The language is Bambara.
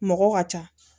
Mɔgɔ ka ca